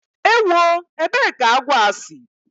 Ewó! ébé kà agwọ a si!